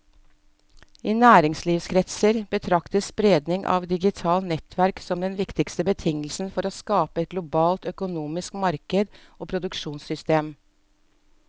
I næringslivskretser betraktes spredningen av digitale nettverk som den viktigste betingelsen for å skape et globalt økonomisk marked og produksjonssystem.